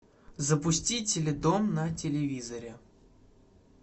запусти теледом на телевизоре